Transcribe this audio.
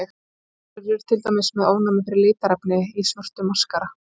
Sumir eru til dæmis með ofnæmi fyrir litarefni í svörtum maskara.